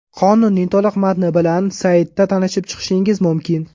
Qonunning to‘liq matni bilan saytida tanishib chiqishingiz mumkin.